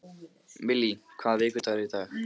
Millý, hvaða vikudagur er í dag?